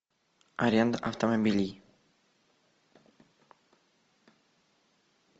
аренда автомобилей